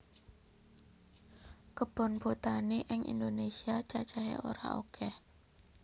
Kebon botani ing Indonesia cacah e ora okeh